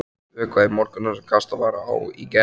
Vökvað í morgun það sem kastað var á í gær.